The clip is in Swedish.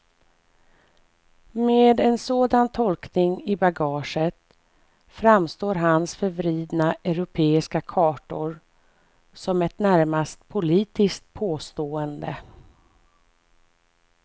Med en sådan tolkning i bagaget framstår hans förvridna europeiska kartor som ett närmast politiskt påstående.